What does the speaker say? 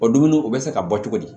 O dumuni o bɛ se ka bɔ cogo di